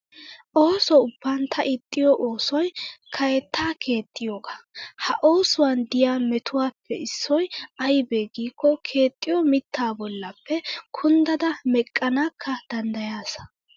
OOso ubban ta ixxiyoo oosoyi kaaetta keexxiyoogaa. ha oosuwan diyaa metuwaappe issoyi ayibee giikko keexxiyoo mitttaa bollappe kunddada meqqanakka danddayaasa.